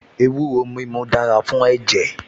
Ewúro mímu dára fún ẹ̀jẹ̀